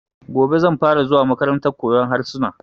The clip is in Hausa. Gobe zan fara zuwa makarantar koyan harsuna